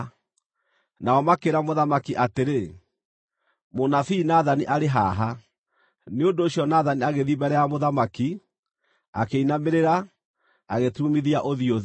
Nao makĩĩra mũthamaki atĩrĩ, “Mũnabii Nathani arĩ haha.” Nĩ ũndũ ũcio Nathani agĩthiĩ mbere ya mũthamaki, akĩinamĩrĩra, agĩturumithia ũthiũ thĩ.